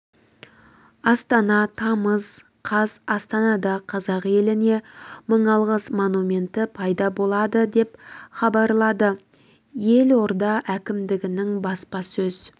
астана тамыз қаз астанада қазақ еліне мың алғыс монументі пайда болады деп хабарлады елорда әкімдігінің баспасөз